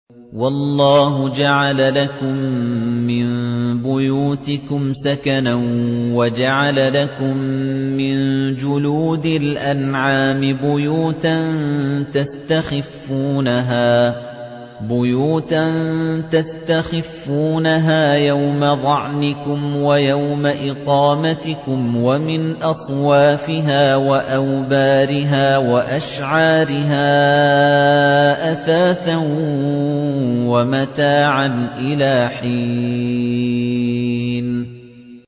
وَاللَّهُ جَعَلَ لَكُم مِّن بُيُوتِكُمْ سَكَنًا وَجَعَلَ لَكُم مِّن جُلُودِ الْأَنْعَامِ بُيُوتًا تَسْتَخِفُّونَهَا يَوْمَ ظَعْنِكُمْ وَيَوْمَ إِقَامَتِكُمْ ۙ وَمِنْ أَصْوَافِهَا وَأَوْبَارِهَا وَأَشْعَارِهَا أَثَاثًا وَمَتَاعًا إِلَىٰ حِينٍ